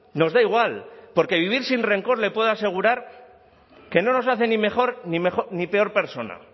nos da igual porque vivir sin rencor le puedo asegurar que no nos hace ni mejor ni peor persona